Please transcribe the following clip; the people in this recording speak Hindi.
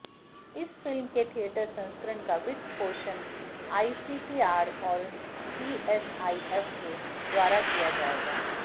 इस फिल्म के थियेटर संस्करण का वित्त पोषण आईसीसीआर और सीएसआईएफ के द्वारा किया जाएगा